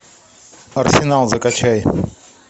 арсенал закачай